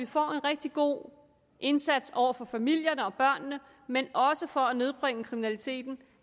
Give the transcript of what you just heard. får en rigtig god indsats over for familierne og børnene men også for at nedbringe kriminaliteten